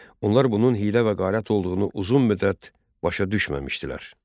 Onlar bunun hiylə və qərat olduğunu uzun müddət başa düşməmişdilər.